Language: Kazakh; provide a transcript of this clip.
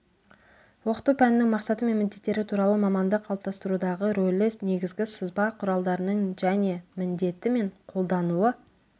оқыту пәнінің мақсаты мен міндеттері туралы маманды қалыптастырудағы рөлі негізгі сызба құралдарының және міндеті мен қолдануы